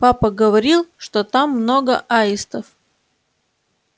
папа говорил что там много аистов